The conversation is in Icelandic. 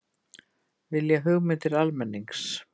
Vilja hugmyndir almennings